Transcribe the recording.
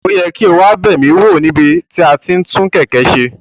O yẹ ki o wa ba mi wo ni ibi ti ati n tun keke ṣe.